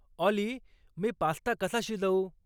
ऑली मी पास्ता कसा शिजवू